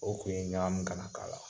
O kun ye ɲagami kana k'a la.